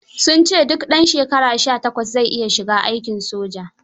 Suj ce duk ɗan shekara 18 zai iya shiga aikin soja.